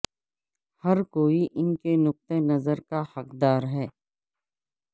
ہر کوئی ان کے نقطہ نظر کا حقدار ہے